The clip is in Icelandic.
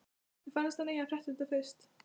Mér finnst að hann eigi að frétta það fyrst.